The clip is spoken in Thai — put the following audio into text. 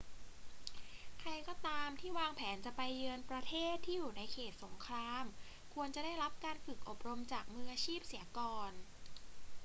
ใครก็ตามที่วางแผนจะไปเยือนประเทศที่อยู่ในเขตสงครามควรจะได้รับการฝึกอบรมจากมืออาชีพเสียก่อน